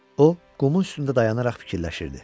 O, qumun üstündə dayanaraq fikirləşirdi.